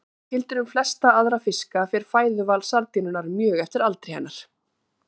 Líkt og gildir um flesta aðra fiska fer fæðuval sardínunnar mjög eftir aldri hennar.